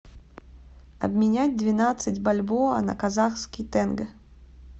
обменять двенадцать бальбоа на казахский тенге